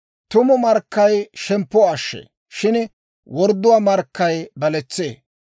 Tumu markkay shemppuwaa ashshee; shin wordduwaa markkay baletsee.